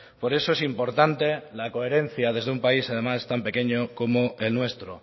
por eso es importante la coherencia desde un país además tan pequeño como el nuestro